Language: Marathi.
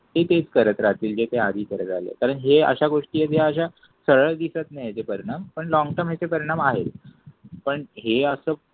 ते तेच करत राहतील जे ते आधी करत आलेत कारण हे अशा गोष्टी आहेत हे अश सरळ दिसत नाहीत. परिणाम पण लँग टर्म याचे परिणाम आहे. पण हे असं.